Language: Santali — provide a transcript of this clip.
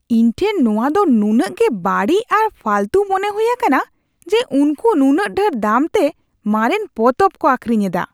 ᱤᱧ ᱴᱷᱮᱱ ᱱᱚᱶᱟ ᱫᱚ ᱱᱩᱱᱟᱹᱜ ᱜᱮ ᱵᱟᱹᱲᱤᱡ ᱟᱨ ᱯᱷᱟᱹᱞᱛᱩ ᱢᱚᱱᱮ ᱦᱩᱭ ᱟᱠᱟᱱᱟ ᱡᱮ ᱩᱱᱠᱩ ᱱᱩᱱᱟᱹᱜ ᱰᱷᱮᱨ ᱫᱟᱢᱛᱮ ᱢᱟᱨᱮᱱ ᱯᱚᱛᱚᱵ ᱠᱚ ᱟᱹᱠᱷᱨᱤᱧ ᱮᱫᱟ ᱾